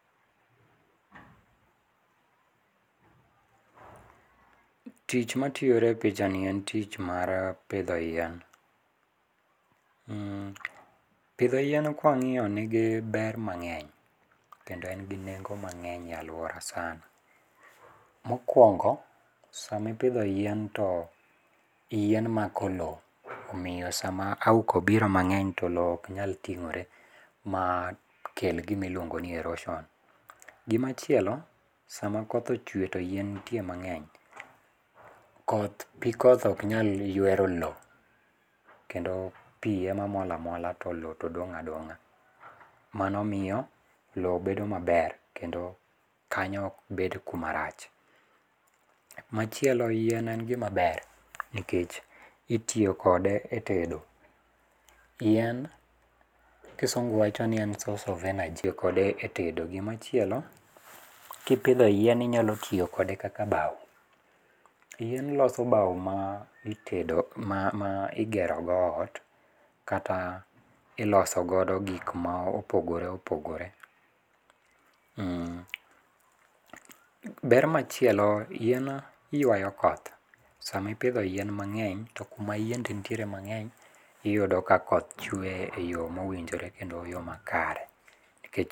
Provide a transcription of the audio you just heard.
Tich matiore e pichani en tich mar pidho yien. Mm pidho yien kwang'io nigi ber mang'eny, kendo en gi nengo mang'eny e aluora sana. Mokwongo, sami pidho yien to yien mako lowo. Omio sama auka obiro mang'eny to lowo oknyal ting'ore ma kel gimi luongo ni erosion. Gima chielo, sama koth ochwe to yien ntie mang'eny, koth pii koth oknyal ywero lowo, kendo pii ema mol amola to lowo to dong' adong'a. Mano mio lowo bedo maber kendo kanyo okbed kuma rach. Machielo yien en gima ber, nikech itio kode e tedo. Yien, kisungu wacho ni en source of energy itio kode e tedo, gimachielo, kipidho yien inyalo tio kode kaka bao. Yien loso bao ma itedo ma ma igero go ot, kata iloso godo gik ma opogore opogore. Mm be machielo, yien ywayo koth. Sami pidho yien mang'eny to kuma yiende ntiere mang'eny iyudo ka koth chwe e yo mowinjore kendo e yoo makare.